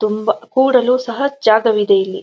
ತುಂಬಾ ಕೂರಲು ಸಹ ಜಾಗವಿದೆ ಇಲ್ಲಿ --